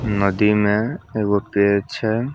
नदी में एगो पेड़ छै।